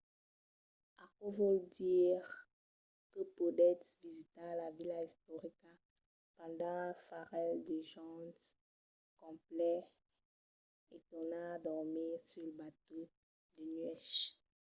aquò vòl dire que podètz visitar la vila istorica pendent un parelh de jorns complets e tornar dormir sul batèu de nuèch